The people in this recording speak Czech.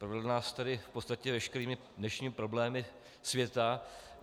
Provedl nás tady v podstatě veškerými dnešními problémy světa.